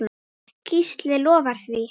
Gísli lofar því.